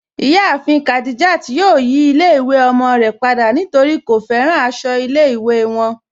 Iyàáfin Khadijat yóò yí ilẹ̀-ìwé ọmọ rẹ̀ pada nítorí kò fẹ́ràn àṣọ ilẹ̀-ìwé wọn.